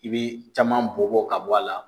I bi caman bɔn bɔn ka bɔ a la.